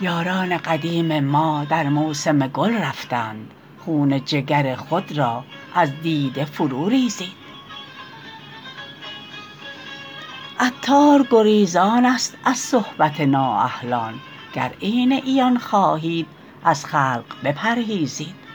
یاران قدیم ما در موسم گل رفتند خون جگر خود را از دیده فرو ریزید عطار گریزان است از صحبت نا اهلان گر عین عیان خواهید از خلق بپرهیزید